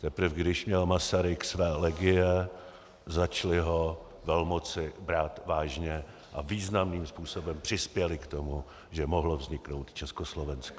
Teprve když měl Masaryk své legie, začaly ho velmoci brát vážně a významným způsobem přispěly k tomu, že mohlo vzniknout Československo.